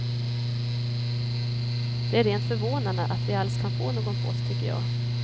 Det är rent förvånande att vi alls kan få någon post, tycker jag.